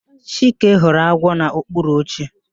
Chike hụrụ agwọ n'okpuru oche